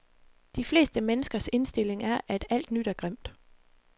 De fleste menneskers indstilling er, at alt nyt er grimt.